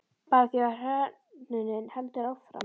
Bara því að hrörnunin heldur áfram.